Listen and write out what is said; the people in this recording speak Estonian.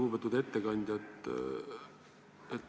Lugupeetud ettekandja!